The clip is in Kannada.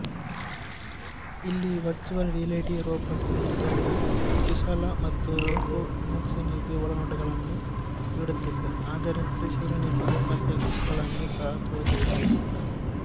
ಇಲ್ಲಿ ವರ್ಚುವಲ್ ರಿಯಾಲಿಟಿ ರೋಬಾಟ್ ತಂತ್ರಜ್ಞಾನದ ಕುಶಲ ಮತ್ತು ಲೋಕೋಮೋಷನ್ಗೆ ಒಳನೋಟಗಳನ್ನು ನೀಡುತ್ತದೆ ಆದರೆ ಪರಿಶೀಲನೆಗೆ ಅವಕಾಶಗಳನ್ನು ಸಹ ತೋರಿಸುತ್ತದೆ